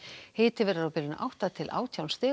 hiti verður á bilinu átta til átján stig